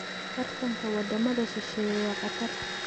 Tartanka wadamada shisheeye waa khatar.